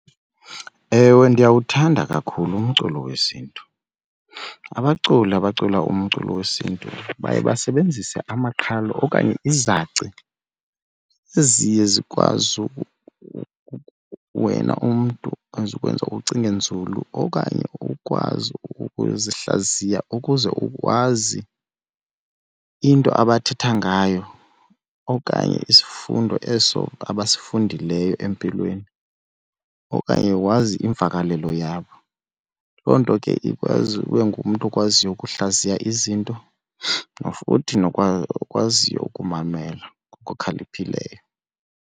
Ewe, ndiyawuthanda kakhulu umculo wesiNtu. Abaculi abacula umculo wesintu baye basebenzise amaqhalo okanye izaci eziye zikwazi wena umntu ezikwenza ucinge nzulu okanye ukwazi ukuzihlaziya ukuze ukwazi into abathetha ngayo okanye isifundo eso abasifundileyo empilweni okanye wazi iimvakalelo yabo. Loo nto ke ikwazi ube ngumntu okwaziyo ukuhlaziya izinto futhi nokwaziyo ukumamela ngokukhaliphileyo.